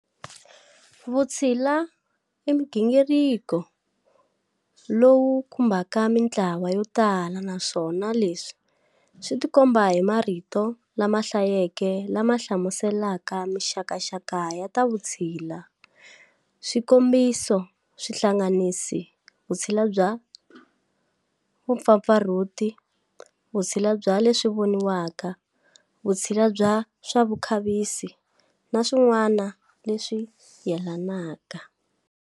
Vutshila imugingiriko lowu khumbaka mintlawa yo tala naswona leswi switikomba hi marito lamahlayeke lama hlamuselaka minxakaxaka ya ta vutshila. Swikombiso swihlanganisa-"Vutshila bya vupfapfarhuti","vutshila bya leswivoniwaka","Vutshila bya swavukhavisi", na swin'wana leswi yelanaka.